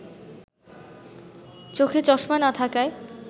চোখে চশমা না থাকায়